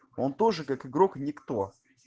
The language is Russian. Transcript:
он тоже как игрок никто